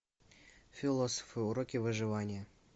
философы уроки выживания